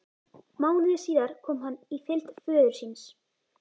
Mánuði síðar kom hann í fylgd föður síns.